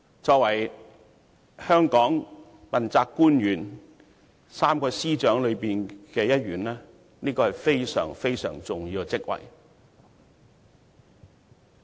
作為香港問責官員 ，3 位司長中的一員，律政司司長是非常重要的職位。